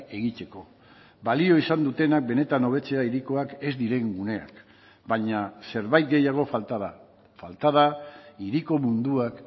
egiteko balio izan dutenak benetan hobetzea hirikoak ez diren guneak baina zerbait gehiago falta da falta da hiriko munduak